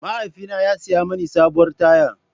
Mahaifina ya saya mini sabuwar taya.